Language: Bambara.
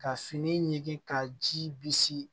Ka fini ɲigin ka ji bisi